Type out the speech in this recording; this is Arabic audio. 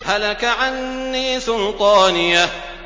هَلَكَ عَنِّي سُلْطَانِيَهْ